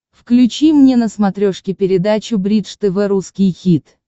включи мне на смотрешке передачу бридж тв русский хит